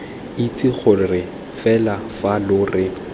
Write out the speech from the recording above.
itse gore fa lo re